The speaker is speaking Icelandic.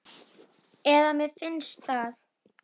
þá fögru steina.